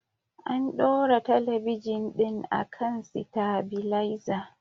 An ɗora talabijin ɗin akan sitabilaiza